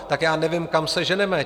Tak já nevím, kam se ženeme.